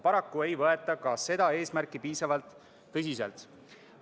Paraku ei võeta ka neid eesmärke piisavalt tõsiselt.